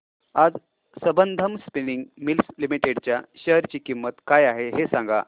आज Sambandam Spinning Mills Limited च्या share ची किंमत काय आहे हे सांगा